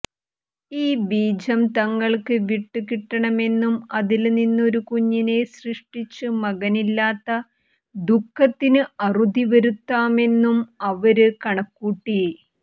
ഈ ബീജം തങ്ങള്ക്ക് വിട്ടുകിട്ടണമെന്നും അതില് നിന്ന് ഒരു കുഞ്ഞിനെ സൃഷ്ടിച്ച് മകനില്ലാത്ത ദുഃഖത്തിന് അറുതി വരുത്താമെന്നും അവര് കണക്കുകൂട്ടി